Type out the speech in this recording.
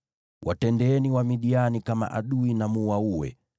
“Watendeeni Wamidiani kama adui na mwaue,